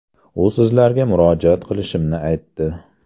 U sizlarga murojaat qilishimni aytdi.